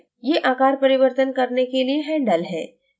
ये आकार परिवर्तन करने के लिए handles हैं